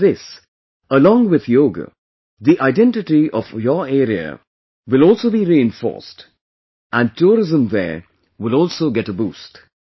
With this, along with yoga, the identity of your area will also be reinforced and tourism there will also get a boost